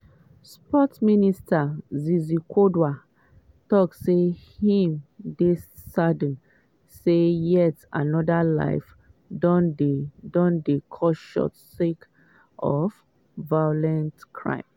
sports minister zizi kodwa tok say im dey "saddened say yet anoda life don dey don dey cut short sake of violent crime".